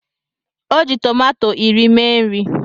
O ji tòmátò iri mee nri